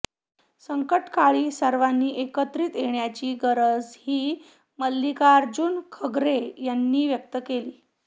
संकटकाळी सर्वांनी एकत्रित येण्याची गरजही मल्लिकार्जुन खर्गे यांनी व्यक्त केली